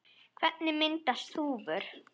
Hvernig myndast þúfur?